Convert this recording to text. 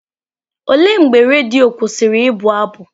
Olee mgbe redio kwụsịrị ịbụ abụ?